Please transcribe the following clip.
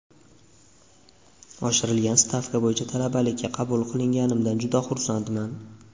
Oshirilgan stavka bo‘yicha talabalikka qabul qilinganimdan juda xursandman.